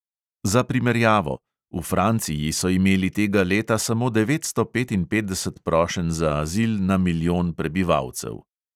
Za primerjavo: v franciji so imeli tega leta samo devetsto petinpetdeset prošenj za azil na milijon prebivalcev.